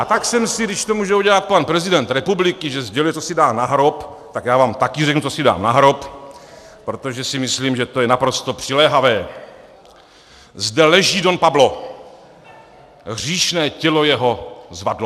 A pak jsem si, když to může udělat pan prezident republiky, že sděluje, co si dá na hrob, tak já vám také řeknu, co si dám na hrob, protože si myslím, že je to naprosto přiléhavé: Zde leží Don Pablo, hříšné tělo jeho zvadlo.